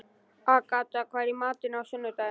Agatha, hvað er í matinn á sunnudaginn?